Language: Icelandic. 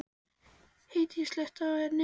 Hedí, slökktu á niðurteljaranum.